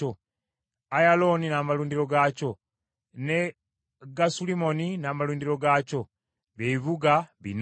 Ayalooni n’amalundiro gaakyo, ne Gasulimmoni n’amalundiro gaakyo, bye bibuga bina.